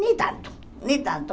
Nem tanto, nem tanto.